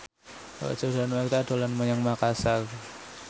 Roger Danuarta dolan menyang Makasar